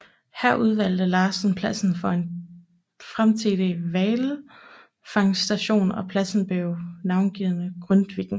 Her udvalgte Larsen pladsen for en framtidig hvalfangststation og pladsen blev navngivet Grytviken